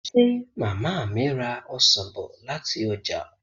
Ṣé màmá mi ra ọsàn bọ̀ láti ọjà?